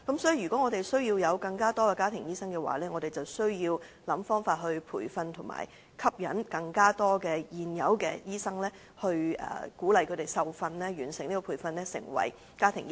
所以，如果香港需要有更多的家庭醫生，政府便要提供培訓並設法吸引更多醫生接受有關培訓，成為家庭醫生。